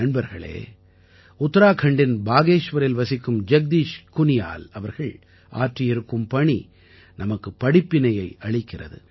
நண்பர்களே உத்தராகண்டின் பாகேஷ்வரில் வசிக்கும் ஜக்தீஷ் குனியால் அவர்கள் ஆற்றியிருக்கும் பணி நமக்குப் படிப்பினையை அளிக்கிறது